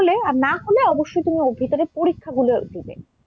হলে আর না হলে অবশ্যই তুমি ওর ভিতরের পরীক্ষাগুলো দিবে।